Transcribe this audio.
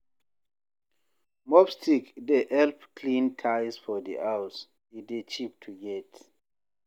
Mob stick dey help clean tiles for di house, e dey cheap to get